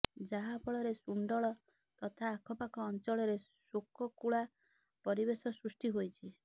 ଯାହାଫଳରେ ସୁଣ୍ଡଳ ତଥା ଆଖପାଖ ଅଞ୍ଚଳରେ ଶୋକକୁଳା ପରିବେଶ ସୃଷ୍ଟି ହୋଇଛି